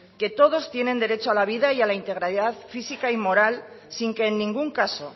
que todos tienen derecho a la vida y a la integridad física y moral sin que en ningún caso